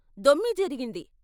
దొమ్మీ జరిగింది.